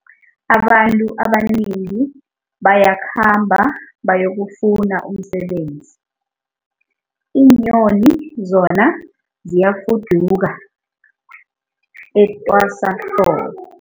Abantu abanengi bayakhamba bayokufuna umsebenzi, iinyoni zona ziyafuduka etwasahlobo.